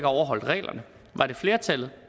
overholdt reglerne var det flertallet